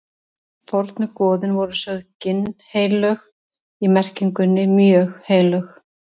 fornu goðin voru sögð ginnheilög í merkingunni mjög heilög